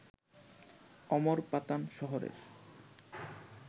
অমরপাতান শহরের